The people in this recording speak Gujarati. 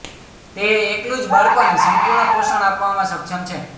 તે એકલું જ બાળકોને સંપુર્ણ પોષણ આપવામાં સક્ષમ છે